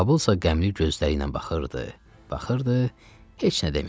Babılsa qəmli gözləriylə baxırdı, baxırdı, heç nə demirdi.